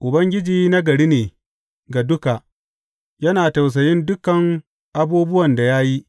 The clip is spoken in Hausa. Ubangiji nagari ne ga duka; yana tausayin dukan abubuwan da ya yi.